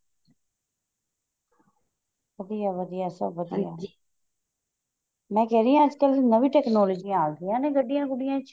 ਵਧੀਆ ਵਧੀਆ ਸਭ ਵਧੀਆ ਮੈਂ ਕਹਿ ਰਹੀ ਹਾਂ ਅੱਜ ਕੱਲ ਨਵੀਂ technology's ਆਂ ਗਈਆਂ ਨੇ ਗੁੱਡੀਆਂ ਗੁਡੀਆਂ ਚ